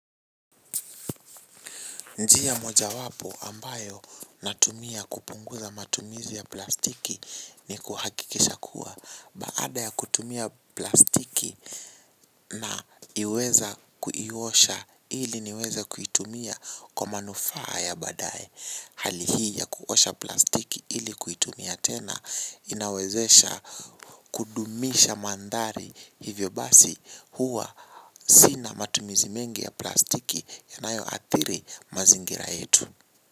Njia mojawapo ambayo natumia kupunguza matumizi ya plastiki ni kuhakikisha kuwa baada ya kutumia plastiki naweza kuiosha ili niweze kuitumia kwa manufaa ya baadae. Hali hii ya kuosha plastiki ili kuitumia tena inawezesha kudumisha mandhari hivyo basi huwa sina matumizi mengi ya plastiki yanayoathiri mazingira yetu.